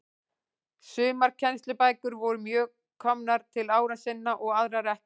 Sumar kennslubækur voru mjög komnar til ára sinna og aðrar ekki til.